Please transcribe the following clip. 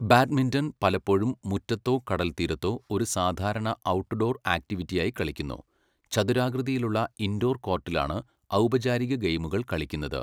Badminton പലപ്പോഴും മുറ്റത്തോ കടൽത്തീരത്തോ ഒരു സാധാരണ ഔട്ട്ഡോർ ആക്റ്റിവിറ്റിയായി കളിക്കുന്നു, ചതുരാകൃതിയിലുള്ള ഇൻഡോർ കോർട്ടിലാണ് ഔപചാരിക ഗെയിമുകൾ കളിക്കുന്നത്.